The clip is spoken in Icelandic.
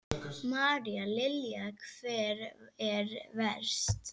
María Lilja: Hvar er verst?